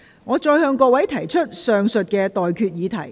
我現在向各位提出上述待決議題。